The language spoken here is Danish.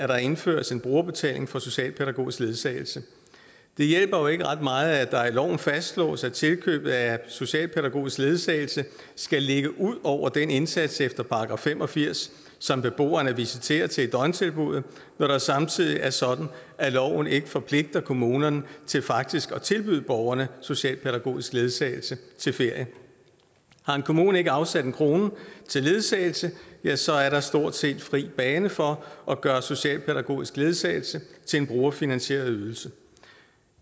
der indføres en brugerbetaling for socialpædagogisk ledsagelse det hjælper jo ikke ret meget at der i loven fastslås at tilkøb af socialpædagogisk ledsagelse skal ligge ud over den indsats efter § fem og firs som beboeren er visiteret til i døgntilbuddet når det samtidig er sådan at loven ikke forpligter kommunerne til faktisk at tilbyde borgerne socialpædagogisk ledsagelse til ferie har en kommune ikke afsat en krone til ledsagelse ja så er der stort set fri bane for at gøre socialpædagogisk ledsagelse til en brugerfinansieret ydelse